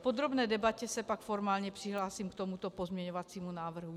V podrobné debatě se pak formálně přihlásím k tomuto pozměňovacímu návrhu.